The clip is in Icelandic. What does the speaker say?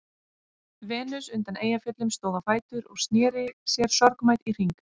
Venus undan Eyjafjöllum stóð á fætur og sneri sér sorgmædd í hring.